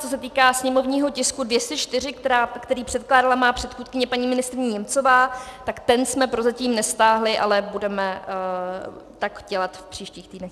Co se týká sněmovního tisku 204, který předkládala má předchůdkyně paní ministryně Němcová, tak ten jsme prozatím nestáhli, ale budeme tak dělat v příštích týdnech.